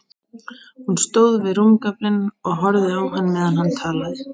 Hún stóð við rúmgaflinn og horfði á hann meðan hann talaði.